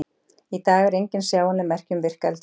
Í dag eru engin sjáanleg merki um virk eldfjöll.